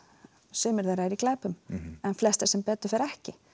sumir eru í glæpum en flestir sem betur fer ekki